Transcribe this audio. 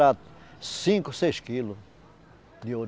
Era cinco, seis quilos de ouro.